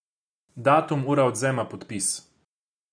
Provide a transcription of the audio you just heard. Datum, ura odvzema, podpis.